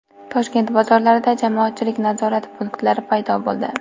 Toshkent bozorlarida jamoatchilik nazorati punktlari paydo bo‘ldi.